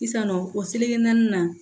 Sisannɔɔ o seleke naani na